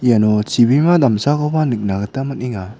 iano chibima damsakoba nikna gita man·enga.